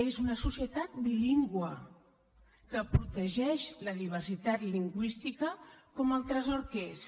és una societat bilingüe que protegeix la diversitat lingüística com el tresor que és